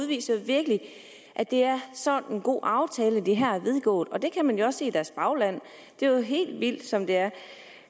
viser virkelig at det er sådan en god aftale de her har indgået det kan man jo også i deres bagland det er helt vildt som det er